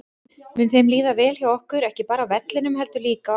Mun þeim líða vel hjá okkur, ekki bara á vellinum heldur líka á æfingasvæðinu?